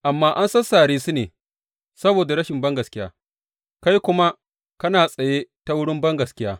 Amma an sassare su ne saboda rashin bangaskiya, kai kuma kana tsaye ta wurin bangaskiya.